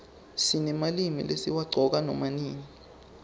sinemalimi lesiwaqcoka nama nini